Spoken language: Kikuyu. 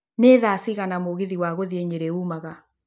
nĩ thaa cigana mũgithi ya gũthiĩ nyeri ũmaga